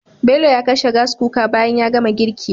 Bello ya kashe Gas Cooker bayan ya gama girki